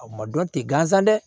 A ma dɔn tɛ gansan dɛ